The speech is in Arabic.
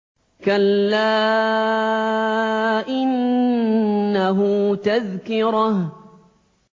كَلَّا إِنَّهُ تَذْكِرَةٌ